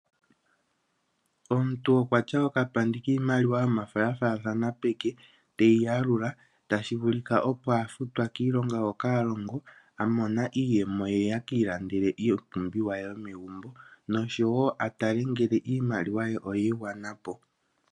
Omuntu okwa tya okapandi kiimaliwa yomafo ya faathana peke teyi yalula tashi vulika opo a futwa kiilonga hoka ha longo a mona iiyemo ye, ye e ki ilandele iipumbiwa ye yomegumbo, noshowo a tale ngele iimaliwa ye oyi igwana po.